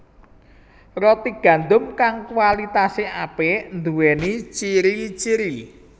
Roti gandum kang kualitasé apik nduwéni ciri ciri